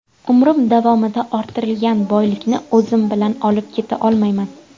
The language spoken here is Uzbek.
Umrim davomida orttirilgan boylikni o‘zim bilan olib keta olmayman.